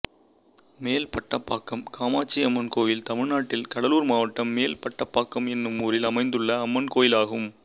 மேல்பட்டாம்பாக்கம் காமாட்சியம்மன் கோயில் தமிழ்நாட்டில் கடலூர் மாவட்டம் மேல்பட்டாம்பாக்கம் என்னும் ஊரில் அமைந்துள்ள அம்மன் கோயிலாகும்